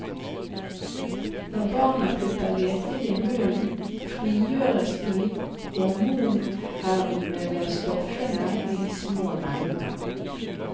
Når barna putter lekene i munnen, frigjøres de hormonhermende stoffene i små mengder.